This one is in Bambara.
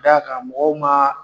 D'a kan mɔgɔw ma